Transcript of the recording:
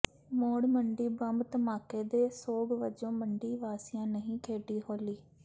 ਮੌੜ Mandi bomb ਧਮਾਕੇ ਦੇ ਸੋਗ ਵਜੋਂ ਮੰਡੀ ਵਾਸੀਆਂ ਨਹੀਂ ਖੇਡੀ ਹੋਲੀ